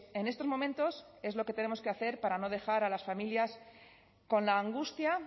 en estos momentos es lo que tenemos que hacer para no dejar a las familias con la angustia